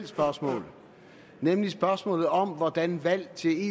spørgsmål nemlig spørgsmålet om hvordan valg til